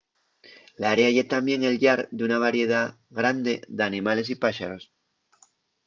l’área ye tamién el llar d’una variedá grande d’animales y páxaros